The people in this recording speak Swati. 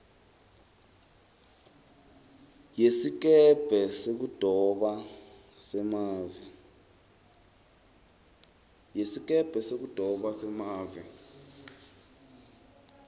yesikebhe sekudoba semave